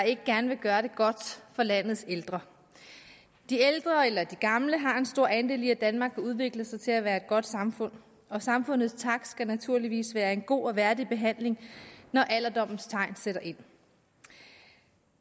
ikke gerne vil gøre det godt for landets ældre de ældre eller de gamle har en stor andel i at danmark har udviklet sig til at være et godt samfund og samfundets tak skal naturligvis være en god og værdig behandling når alderdommens tegn sætter ind